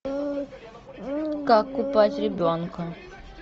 как купать ребенка